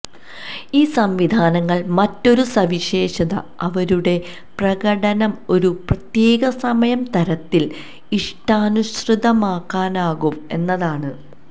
ഈ സംവിധാനങ്ങൾ മറ്റൊരു സവിശേഷത അവരുടെ പ്രകടനം ഒരു പ്രത്യേക സമയം തരത്തിൽ ഇഷ്ടാനുസൃതമാക്കാനാകും എന്നതാണ്